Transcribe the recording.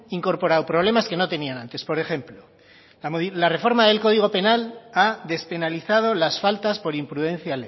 incorporado problemas que no tenían antes por ejemplo la reforma del código penal ha despenalizado las faltas por imprudencia